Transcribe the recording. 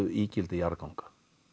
ígildi jarðganga